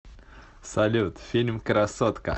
салют фильм красотка